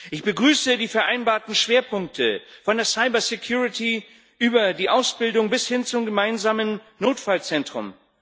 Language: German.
Ich begrüße die vereinbarten Schwerpunkte von der Cybersicherheit über die Ausbildung bis hin zum gemeinsamen Notfallzentrum.